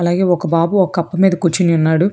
ఈ ఒక బాబు ఒక కప్ప మీద కూర్చుని ఉన్నాడు.